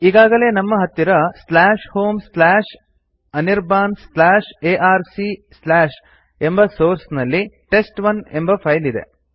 ಈಗಾಗಲೇ ನಮ್ಮ ಹತ್ತಿರ homeanirbanarc ಎಂಬ ಸೋರ್ಸ್ ನಲ್ಲಿ ಟೆಸ್ಟ್1 ಎಂಬ ಫೈಲ್ ಇದೆ